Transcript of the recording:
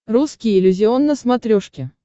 русский иллюзион на смотрешке